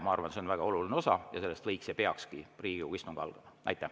Ma arvan, et see on väga oluline osa ja sellest võiks ja peakski Riigikogu istung algama.